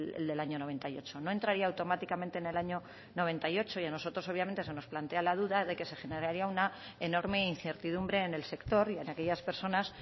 el del año noventa y ocho no entraría automáticamente en el año noventa y ocho y a nosotros obviamente se nos plantea la duda de que se generaría una enorme incertidumbre en el sector y en aquellas personas